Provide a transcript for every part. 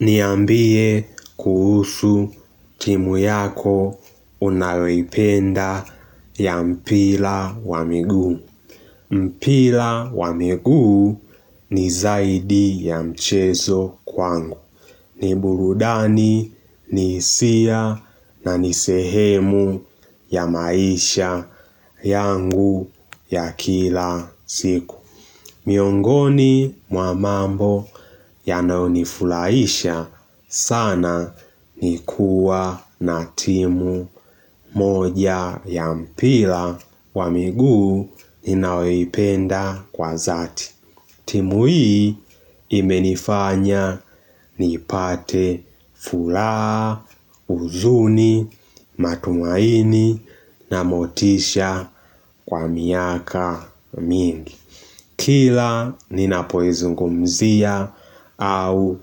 Niambie kuhusu timu yako unayoipenda ya mpira wa miguu. Mpira wa miguu ni zaidi ya mchezo kwangu. Niburudani ni hisia na ni sehemu ya maisha yangu ya kila siku. Miongoni mwa mambo ya naonifurahisha sana ni kuwa na timu moja ya mpira wa miguu ninayoipenda kwa dhati. Timu hii imenifanya ni ipate furaha, huzuni, matumaini na motisha kwa miaka mingi. Kila ninapoizungumzia au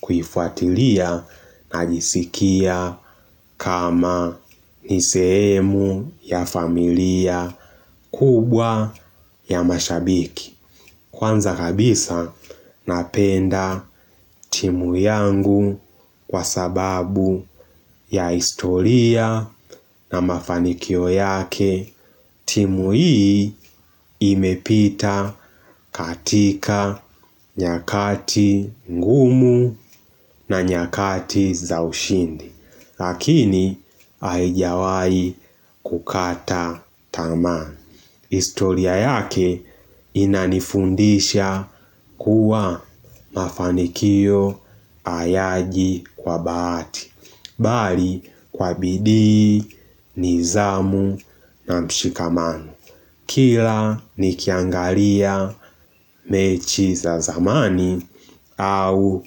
kuifuatilia najisikia kama ni sehemu ya familia kubwa ya mashabiki. Kwanza kabisa napenda timu yangu kwa sababu ya historia na mafanikio yake. Timu hii imepita katika nyakati ngumu na nyakati za ushindi. Lakini haijawahi kukata tamaa. Historia yake inanifundisha kuwa mafanikio hayaji kwa bahati. Bali kwa bidii, nidhamu na mshikamano kila nikiangalia mechi za zamani au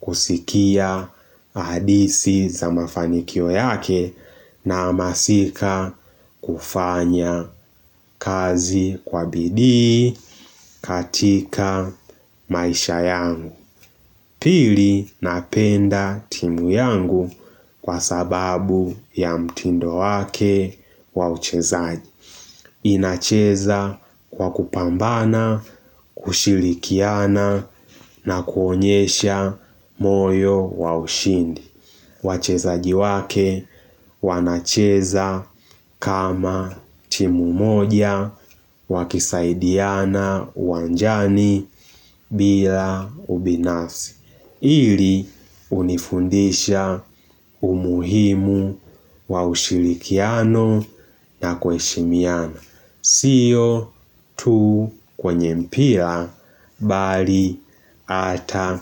kusikia hadithi za mafanikio yake na hamasika kufanya kazi kwa bidii katika maisha yangu. Pili napenda timu yangu kwa sababu ya mtindo wake wa uchezaji. Inacheza kwa kupambana, kushilikiana na kuonyesha moyo wa ushindi. Wachezaj iwake wanacheza kama timu moja wakisaidiana uwanjani bila ubinafsi. Hili hunifundisha umuhimu wa ushirikiano na kuheshimiana. Si hiyo tu kwenye mpira mbali hata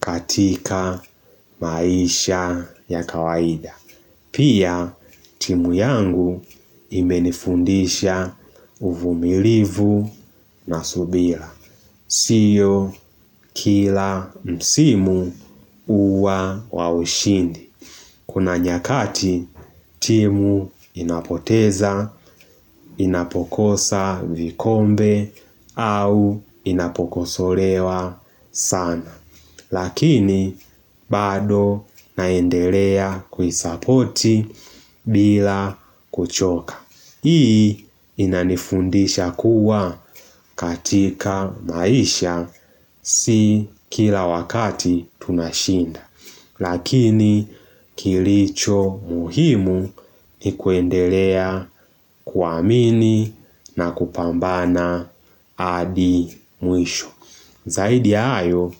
katika maisha ya kawaida. Pia timu yangu imenifundisha uvumilivu na subira. Sio kila msimu huwa wa ushindi. Kuna nyakati timu inapoteza, inapokosa vikombe au inapokosolewa sana. Lakini bado naendelea kuisapoti bila kuchoka. Hii inanifundisha kuwa katika maisha si kila wakati tunashinda. Lakini kilicho muhimu ni kuendelea kuamini na kupambana hadi mwisho. Zaidi ya hayo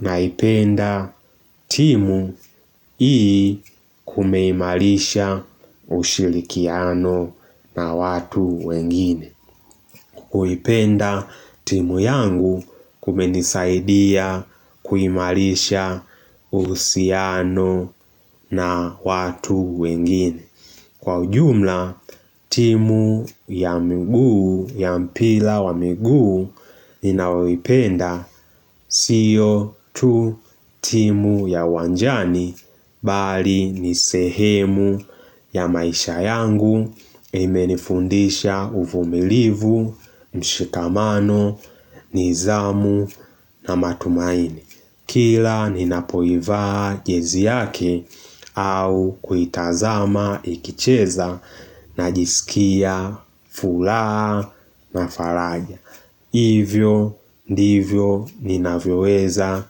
naipenda timu hii kumeimarisha kwa ushirikiano na watu wengine. Kuipenda timu yangu kumenisaidia kuimarisha uhusiano na watu wengine. Kwa ujumla, timu ya miguu ya mpira wa miguu ninayoipenda sio tu timu ya uwanjani bali nisehemu ya maisha yangu imenifundisha uvumilivu, mshikamano, nidhamu na matumaini. Kila ninapoivaa jezi yake au kuitazama ikicheza na jisikia furaha na faraja. Hivyo ndivyo ninavyoweza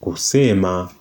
kusema kwa.